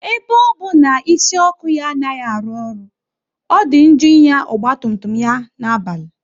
Ebe ọ bụ na isi ọkụ ya anaghị arụ ọrụ, ọ dị njọ ịnya ọgba tum tum ya na-abalị